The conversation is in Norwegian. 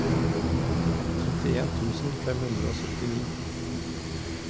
trettien tusen fem hundre og syttini